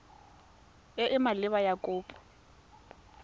e e maleba ya kopo